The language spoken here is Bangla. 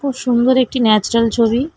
খুব সুন্দর একটি ন্যাচারাল ছবি।